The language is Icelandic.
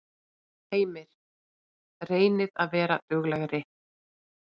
Heimir: Reynið að vera duglegri?